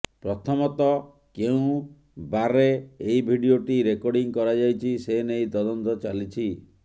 ପ୍ରଥମତଃ କେଉଁ ବାର୍ରେ ଏହି ଭିଡିଓଟି ରେକର୍ଡିଂ କରାଯାଇଛି ସେନେଇ ତଦନ୍ତ ଚାଲିଛି